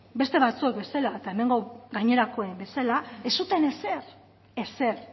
beste batzuek bezala eta hemengo gainerakoen bezala ez zuten ezer ezer